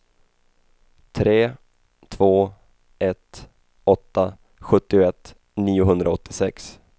tre två ett åtta sjuttioett niohundraåttiosex